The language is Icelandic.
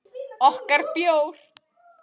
Okkar bjór.